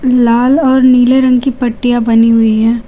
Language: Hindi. लाल और नीले रंग की पट्टियां बनी हुई हैं।